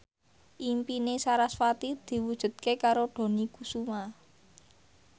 impine sarasvati diwujudke karo Dony Kesuma